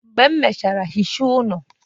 Mgbe m mechara ihicha ụlọ